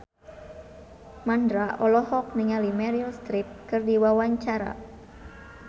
Mandra olohok ningali Meryl Streep keur diwawancara